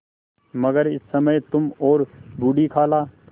मगर इस समय तुम और बूढ़ी खाला